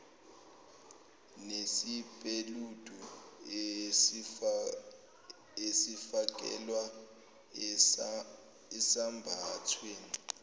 nesipeledu esifakelwa esambathweni